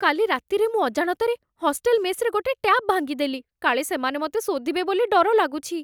କାଲି ରାତିରେ ମୁଁ ଅଜାଣତରେ ହଷ୍ଟେଲ ମେସ୍‌ରେ ଗୋଟେ ଟ୍ୟାପ୍ ଭାଙ୍ଗିଦେଲି, କାଳେ ସେମାନେ ମତେ ଶୋଧିବେ ବୋଲି ଡର ଲାଗୁଛି ।